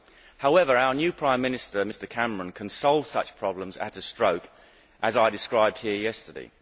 However, our new Prime Minister, Mr Cameron, can solve such problems at a stroke as I described here yesterday.